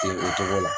o cogo la